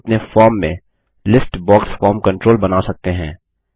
अब हम अपने फॉर्म में लिस्ट बॉक्स फॉर्म कंट्रोल बना सकते हैं